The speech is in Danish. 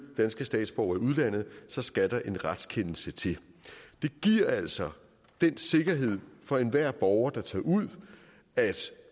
danske statsborgere i udlandet så skal en retskendelse til det giver altså den sikkerhed for enhver borger der tager ud at